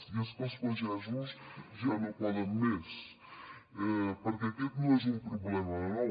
i és que els pagesos ja no poden més perquè aquest no és un problema de nou